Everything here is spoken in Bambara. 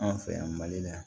Anw fɛ yan mali la yan